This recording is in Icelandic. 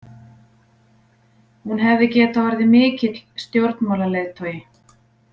Hún hefði getað orðið mikill stjórnmálaleiðtogi.